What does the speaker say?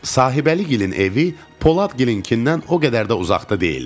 Sahibəligilin evi Poladgilinkindən o qədər də uzaqda deyildi.